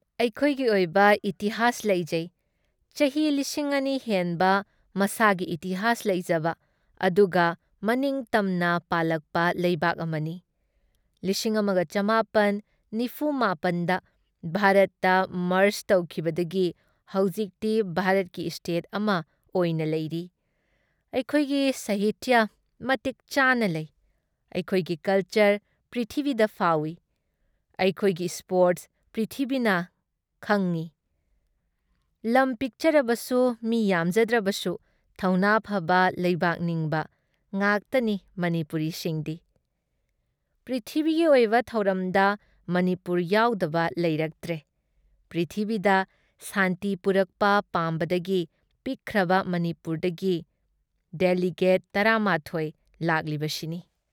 ꯑꯩꯈꯣꯏꯒꯤ ꯑꯣꯏꯕ ꯏꯇꯤꯍꯥꯖ ꯂꯩꯖꯩ ꯫ ꯆꯥꯍꯤ ꯲꯰꯰꯰ ꯍꯦꯟꯕ ꯃꯁꯥꯒꯤ ꯏꯇꯤꯍꯥꯁ ꯂꯩꯖꯕ ꯑꯗꯨꯒ ꯃꯅꯤꯡ ꯇꯝꯅ ꯄꯥꯜꯂꯛꯄ ꯂꯩꯕꯥꯛ ꯑꯃꯅꯤ ꯫ ꯱꯹꯴꯹ꯗ ꯚꯥꯔꯠꯇ ꯃꯔꯖ ꯇꯧꯈꯤꯕꯗꯒꯤ ꯍꯧꯖꯤꯛꯇꯤ ꯚꯥꯔꯠꯀꯤ ꯏꯁꯇꯦꯠ ꯑꯃ ꯑꯣꯏꯅ ꯂꯩꯔꯤ ꯫ ꯑꯩꯈꯣꯏꯒꯤ ꯁꯥꯍꯤꯇꯤꯌꯥ ꯃꯇꯤꯛ ꯆꯥꯅ ꯂꯩ ꯫ ꯑꯩꯈꯣꯏꯒꯤ ꯀꯜꯆꯔ ꯄꯤꯊ꯭ꯔꯤꯕꯤꯗ ꯐꯥꯎꯢ ꯫ ꯑꯩꯈꯣꯏꯒꯤ ꯏꯁ꯭ꯄꯣꯔꯠ꯭ꯁ ꯄꯤꯊ꯭ꯔꯤꯕꯤꯅ ꯈꯪꯢ ꯫ ꯂꯝ ꯄꯤꯛꯆꯔꯕꯁꯨ ꯃꯤ ꯌꯥꯝꯖꯗ꯭ꯔꯕꯁꯨ ꯊꯧꯅ ꯐꯕ ꯂꯩꯕꯥꯛ ꯅꯤꯡꯕ ꯉꯥꯛꯇꯅꯤ ꯃꯅꯤꯄꯨꯔꯤꯁꯤꯡꯗꯤ ꯫ ꯄꯤꯊ꯭ꯔꯤꯕꯤꯒꯤ ꯑꯣꯏꯕ ꯊꯧꯔꯝꯗ ꯃꯅꯤꯄꯨꯔ ꯌꯥꯎꯗꯕ ꯂꯩꯔꯛꯇ꯭ꯔꯦ ꯫ ꯄꯤꯊ꯭ꯔꯤꯕꯤꯗ ꯁꯥꯟꯇꯤ ꯄꯨꯔꯛꯄ ꯄꯥꯝꯕꯗꯒꯤ ꯄꯤꯛꯈ꯭ꯔꯕ ꯃꯅꯤꯄꯨꯔꯗꯒꯤ ꯗꯦꯂꯤꯒꯠ ꯱꯱ ꯂꯥꯛꯂꯤꯕꯁꯤꯅꯤ ꯫